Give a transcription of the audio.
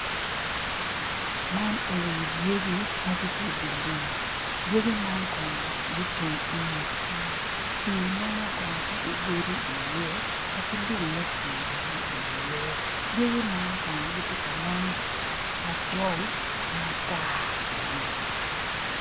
Man enini-ni dyegi ma gitye i di lum dyegi man kono ocung i nget pii, pii meno kono tye ki godi iye wa ki mutwi bene iye dyegi man kono gitye ka nen macol ki matar bene.